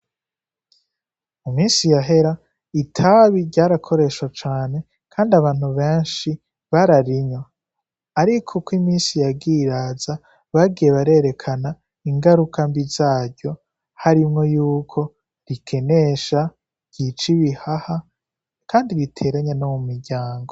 Mumisi yahera itabi ryara koreshwa cane kandi abantu benshi bararinywa, ariko uko iminsi yagiye iraheza bagiye barerekana ingaruka zaryo harimwo yuko rikenesha ,ryica ibihaha, kandi biteranya no mu miryango.